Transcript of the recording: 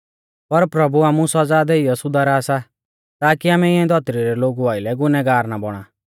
पर प्रभु आमु सौज़ा देइयौ सुधारा सा ताकी आमै इऐं धौतरी रै लोगु आइलै गुनैहगार ना बौणा